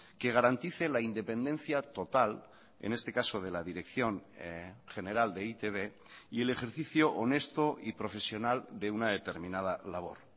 que garantice la independencia total en este caso de la dirección general de e i te be y el ejercicio honesto y profesional de una determinada labor